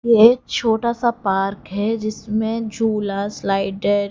ये छोटा सा पार्क है जिसमें झूला स्लाइडर --